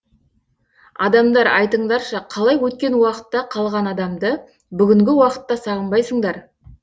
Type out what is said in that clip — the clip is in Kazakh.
адамдар айтыңдаршы қалай өткен уақытта қалған адамды бүгінгі уақытта сағынбайсыңдар